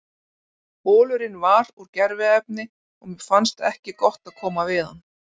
Bolurinn var úr gerviefni og mér fannst ekki gott að koma við það.